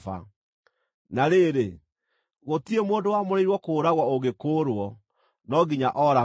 “ ‘Na rĩrĩ, gũtirĩ mũndũ wamũrĩirwo kũũragwo ũngĩkũũrwo; no nginya ooragwo.